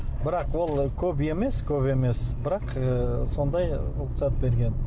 бірақ ол көп емес көп емес бірақ ы сондай рұқсат берген